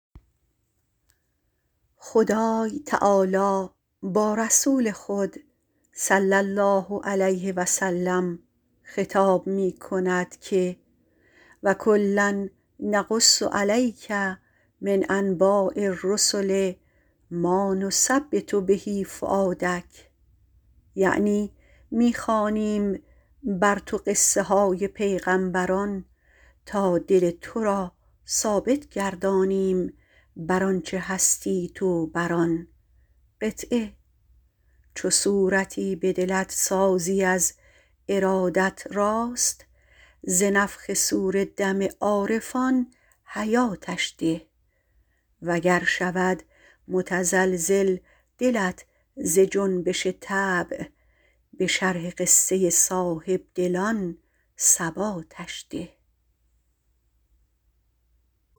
خدای تعالی با رسول خود - صلی الله علیه و سلم - خطاب می کند که و کلا نقص علیک من انباء الرسل مانثبت به فؤادک یعنی می خوانیم بر تو قصه های پیغمبران تا دل تو را ثابت گردانیم بر آنچه هستی در آن چو صورتی به دلت سازی از ارادت راست ز نفخ صور دم عارفان حیاتش ده و گر شود متزلزل دلت ز جنبش طبع به شرح قصه صاحبدلان ثباتش ده